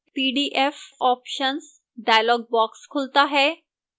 pdf options dialog box खुलता है